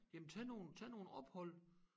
Jamen tag nogle tag nogle ophold